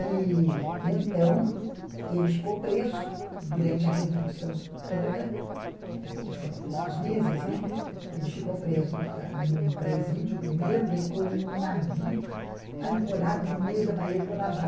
E então ele ficou preso durante a revolução toda, que foram poucos meses, né, ele ficou preso num presídio primeiro, depois num navio ancorado no meio da Baía de Guanabara.